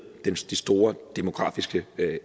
de store demografiske